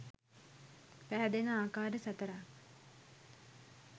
පැහැදෙන ආකාර සතරක්